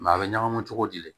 a bɛ ɲagami cogo di